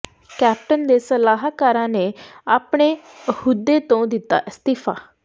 captain ਦੇ ਸਲਾਹਕਾਰਾਂ ਨੇ ਆਪਣੇ ਅਹੁਦੇ ਤੋਂ ਦਿੱਤਾ ਅਸਤੀਫਾ